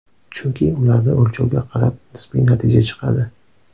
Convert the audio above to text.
Chunki ularda o‘lchovga qarab nisbiy natija chiqadi.